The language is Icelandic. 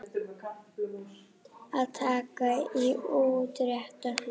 Að taka í útrétta hönd